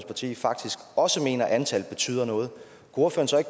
parti faktisk også mener at antallet betyder noget